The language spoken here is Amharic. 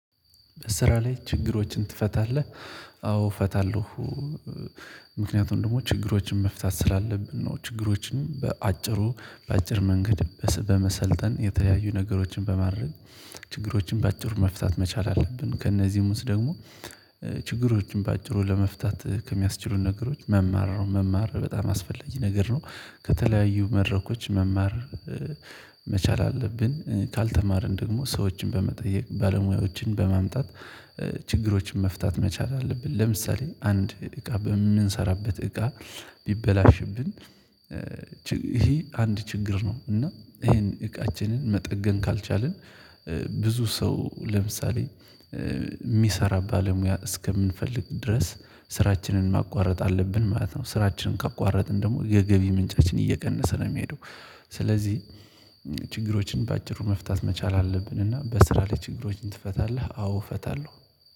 ስራ ላይ ችግሮችን ትፈታለህ? አዎ እፈታለሁ። ምክንያቱም ደግሞ ችግሮችን መፍታት ስላለብን ነው። ችግሮችን በአጭሩ በአጭር መንገድ በመሰልጠን የተለያዩ ነገሮችን በማድረግ ችግሮችን በአጭሩ መፍታት መቻል አለብን። ከእነዚህ ውስጥ ደግሞ ችግሮችን በአጭሩ ለመፍታት ከሚያስችሉን ነገሮች መማር ነው መማር በጣም አስፈለጊ ነገር ነው። ከተለያዩ መድረኮች መማር መቻል አለብን። ካልተማርን ደግሞ ሰዎችን በመጠየቅ ባለሙያዎችን በማምጣት ችግሮችን መፍታት መቻል አለብን። ለምሳሌ አንድ እቃ በምንሰራበት እቃ ቢበላሽብን ይሄ አንድ ችግር ነው። እና ይሄን እቃችንን መጠገን ካልቻልን ብዙ ሰው ለምሳሌ የሚሰራ ባለሙያ እስከምንፈልግ ድረስ ስራችንን ማቋረጥ አለብን ማለት ነው። ስራችንን ካቋረጥን ደግሞ የገቢ ምንጫችን እየቀነሰ ነው የሚሄደው። ስለዚህ ችግሮችን በአጭሩ መፍታት መቻል አለብን። እና በስራ ላይ ችግሮችን ትፈታለህ? አዎ እፈታለሁ